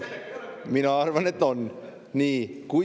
Mina arvan, et on!